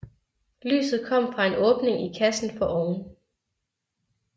Lyset kom fra en åbning i kassen foroven